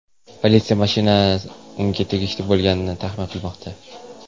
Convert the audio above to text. Politsiya mashina unga tegishli bo‘lganini taxmin qilmoqda.